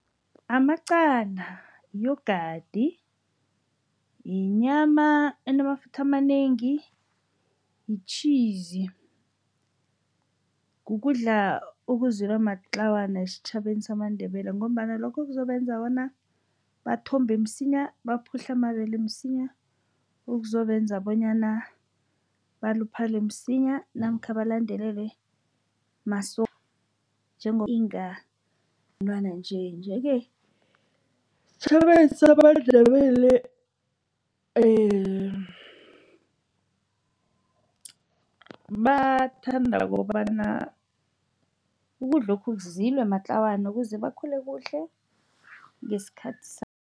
Amaqanda, yi-yogurt, yinyama enamafutha amanengi, yi-cheeze. Kukudla okuzilwa matlawana esitjhabeni samaNdebele ngombana lokho kuzobenza bona bathombe msinya, baphahla amabele msinya. Okuzobenza bonyana baluphele msinya, namkha balandelelwe inga umntwana nje. Nje-ke, esitjhabeni samaNdebele bathanda kobana ukudlokhu kuzilwe matlawana, ukuze bakhule kuhle ngesikhathi